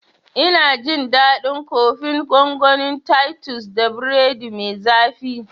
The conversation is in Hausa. Ina jin daɗin kofin gongonin titus da biredi mai zafi